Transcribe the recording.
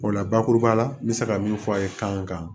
O la bakuruba la n bɛ se ka min fɔ a ye kan kan